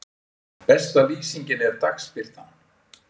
Besta lýsingin er dagsbirtan.